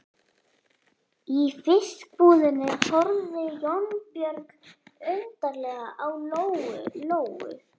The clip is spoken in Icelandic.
Í fiskbúðinni horfði Jónbjörn undarlega á Lóu Lóu.